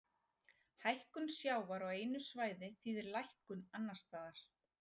Hækkun sjávar á einu svæði þýðir lækkun annars staðar.